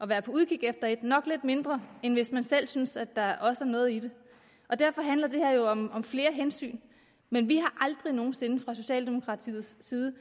være på udkig efter et nok lidt mindre end hvis man selv synes at der også er noget i det derfor handler det her jo om om flere hensyn men vi har aldrig nogen sinde fra socialdemokratiets side